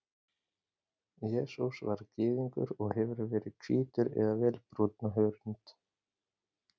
Jesús var Gyðingur og hefur verið hvítur eða vel brúnn á hörund.